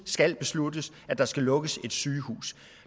skal besluttes at der skal lukkes et sygehus